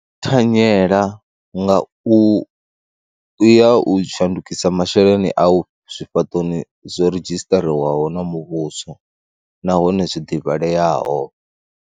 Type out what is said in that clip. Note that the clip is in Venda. Thanyela nga u ya u shandukisa masheleni au zwifhaṱoni zwo redzhisiṱariwaho na muvhuso nahone zwi ḓivhaleaho.